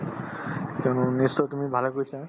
তেনেহলে নিশ্চয় তুমি ভালে কৈছা